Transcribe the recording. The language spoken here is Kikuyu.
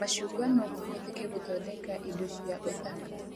Macungwa no mahũthike gũthondeka indo cia ũthaka